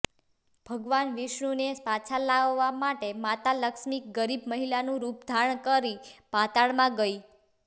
ભગવાન વિષ્ણુને પાછા લાવવા માટે માતા લક્ષ્મી ગરીબ મહિલાનું રૂપ ધારણ કરી પાતાળમાં ગઈ